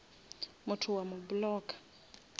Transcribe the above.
motho o a mo blocka